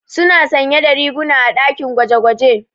Suna sanye da riguna a ɗakin gwaje-gwaje.